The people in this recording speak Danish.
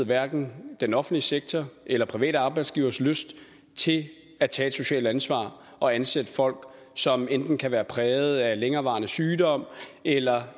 hverken den offentlige sektor eller private arbejdsgiveres lyst til at tage et socialt ansvar og ansætte folk som enten kan være præget af længerevarende sygdom eller